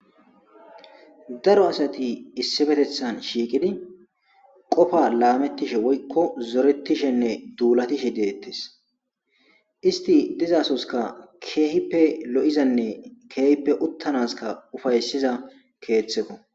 Daro asati issibetethan shiiqidi qofa laamettishe woykko zoretishenne duulatishe deettes isti dizasoska keehippe lo'izanne keehippe uttanaska ufaysiza keeththeko